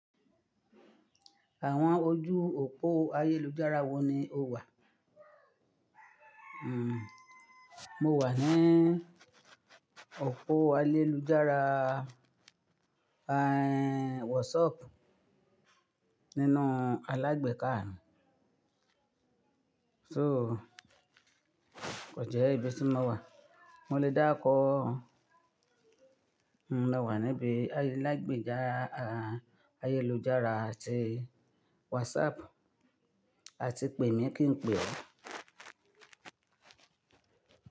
Àwọn ojú òpó ayélujára wo ni o wà? Hmm, mo wà ní òpó ayélujára, ehn, WhatsApp nínú alágbèká mi. So kò jẹ́ ìbi tí mọ̀ wà. Mo lè dáruko, mo le wà níbi alágbèká ayélujára àti WhatsApp, àti pè mí kí n pè ọ́